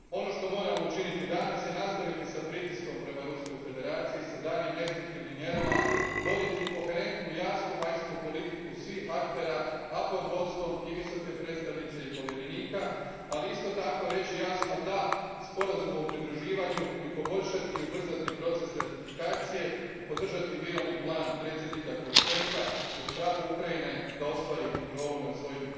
Ono što moramo učiniti danas je nastaviti s pritiskom prema Ruskoj Federaciji s daljnjim restriktivnim mjerama, voditi koherentnu, jasnu vanjsku politiku svih aktera, a pod vodstvom i Visoke predstavnice i povjerenika, ali isto tako reći jasno da Sporazumu o pridruživanju i poboljšati i ubrzati proces ratifikacije i podržati mirovni plan predsjednika Porošenka uz pravo Ukrajine da ostvari kontrolu nad svojim